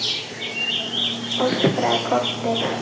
öskraði Kobbi.